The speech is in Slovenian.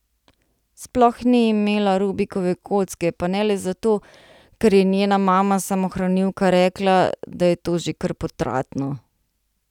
Sploh ni imela Rubikove kocke, pa ne le zato, ker je njena mama samohranilka rekla, da je to že kar potratno.